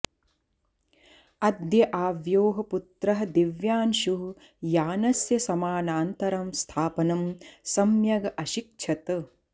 अद्य आव्योः पुत्रः दिव्यांशुः यानस्य समानान्तरं स्थापनं सम्यग् अशिक्षत